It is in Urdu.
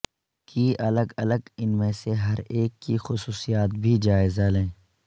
کی الگ الگ ان میں سے ہر ایک کی خصوصیات بھی جائزہ لیں